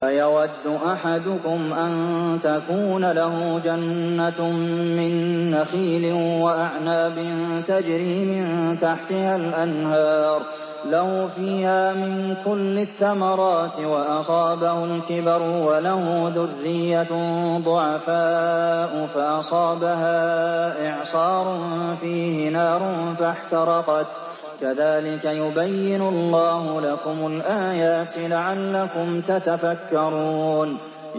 أَيَوَدُّ أَحَدُكُمْ أَن تَكُونَ لَهُ جَنَّةٌ مِّن نَّخِيلٍ وَأَعْنَابٍ تَجْرِي مِن تَحْتِهَا الْأَنْهَارُ لَهُ فِيهَا مِن كُلِّ الثَّمَرَاتِ وَأَصَابَهُ الْكِبَرُ وَلَهُ ذُرِّيَّةٌ ضُعَفَاءُ فَأَصَابَهَا إِعْصَارٌ فِيهِ نَارٌ فَاحْتَرَقَتْ ۗ كَذَٰلِكَ يُبَيِّنُ اللَّهُ لَكُمُ الْآيَاتِ لَعَلَّكُمْ تَتَفَكَّرُونَ